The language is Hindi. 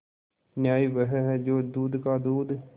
न्याय वह है जो दूध का दूध